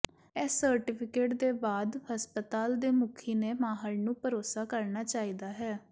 ਇਸ ਸਰਟੀਫਿਕੇਟ ਦੇ ਬਾਅਦ ਹਸਪਤਾਲ ਦੇ ਮੁਖੀ ਨੇ ਮਾਹਰ ਨੂੰ ਭਰੋਸਾ ਕਰਨਾ ਚਾਹੀਦਾ ਹੈ